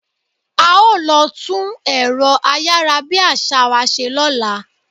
A ó lọ tún ẹ̀rọ ayárabíàṣá wa ṣe lọ́la.